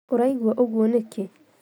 Ũraigua ũguo nĩkĩ?